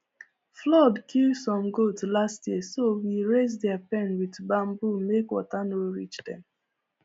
flood kill some goat last year so we raise their pen with bamboo make water no reach dem